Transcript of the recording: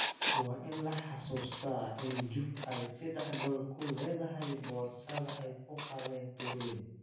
Waa in la xusuustaa in Juve ay seddex gool ku leedahay boorsada ay ku qaadeen Turin.